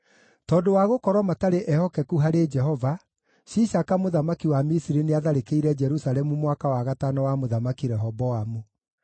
Tondũ wa gũkorwo matarĩ ehokeku harĩ Jehova, Shishaka mũthamaki wa Misiri nĩatharĩkĩire Jerusalemu mwaka wa gatano wa Mũthamaki Rehoboamu.